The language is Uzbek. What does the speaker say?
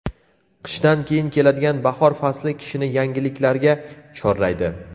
Qishdan keyin keladigan bahor fasli kishini yangiliklarga chorlaydi.